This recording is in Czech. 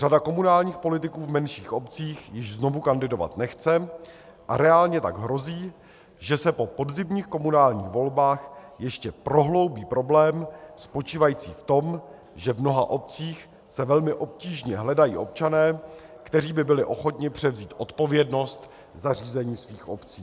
Řada komunálních politiků v menších obcích již znovu kandidovat nechce, a reálně tak hrozí, že se po podzimních komunálních volbách ještě prohloubí problém spočívající v tom, že v mnoha obcích se velmi obtížně hledají občané, kteří by byli ochotni převzít odpovědnost za řízení svých obcí.